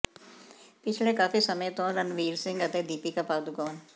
ਪਿਛਲੇ ਕਾਫੀ ਸਮੇਂ ਤੋਂ ਰਣਵੀਰ ਸਿੰਘ ਅਤੇ ਦੀਪਿਕਾ ਪਾਦੁਕੋਣ